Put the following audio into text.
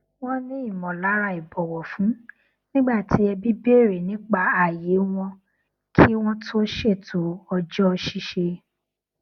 wọn ní ìmọlára ìbọwọfún nígbà tí ẹbí bèrè nípa ààyè wọn kí wọn tó ṣètò ọjọ ṣíṣe